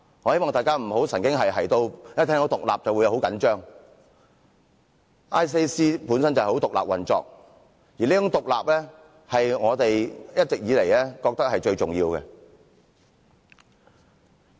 我希望大家不要神經兮兮地一聽到"獨立"便很緊張 ，ICAC 本身就是獨立運作的，而這種獨立是我們一直以來皆認為是最重要的。